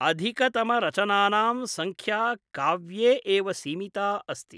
अधिकतमरचनानां संख्या काव्ये एव सीमिता अस्ति ।